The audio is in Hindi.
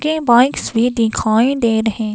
ये बाइक्स भी दिखाई दे रहे--